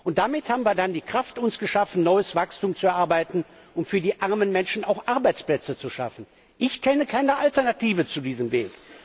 Und damit haben wir uns die Kraft geschaffen, neues Wachstum zu erarbeiten und für die armen Menschen auch Arbeitsplätze zu schaffen. Ich kenne keine Alternative zu diesem Weg.